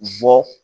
Bɔ